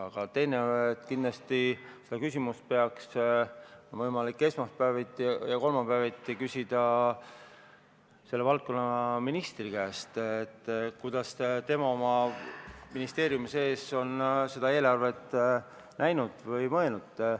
Aga teisalt on kindlasti seda küsimust võimalik esmaspäeviti ja kolmapäeviti küsida selle valdkonna ministri käest, kuidas tema oma ministeeriumi sees on seda eelarvet näinud või mõelnud.